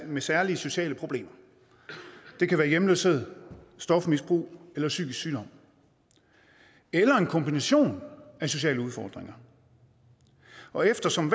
med særlige sociale problemer det kan være hjemløshed stofmisbrug eller psykisk sygdom eller en kombination af sociale udfordringer og eftersom